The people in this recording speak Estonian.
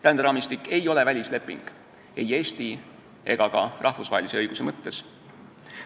Ränderaamistik ei ole välisleping ei Eesti ega ka rahvusvahelise õiguse mõttes.